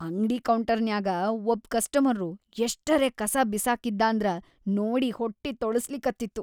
ಅಂಗ್ಡಿ ಕೌಂಟರ್ನ್ಯಾಗ ಒಬ್ ಕಸ್ಟಮರ್ರು ಎಷ್ಟರೆ ಕಸಾ ಬಿಸಾಕಿದ್ದಾಂದ್ರ ನೋಡಿ ಹೊಟ್ಟಿ ತೊಳಸ್ಲಿಕತ್ತಿತ್ತು.